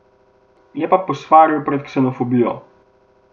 Je pa posvaril pred ksenofobijo.